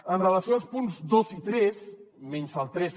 amb relació als punts dos i tres menys el tres